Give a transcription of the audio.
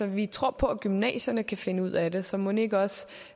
vi tror på at gymnasierne kan finde ud af det så mon ikke også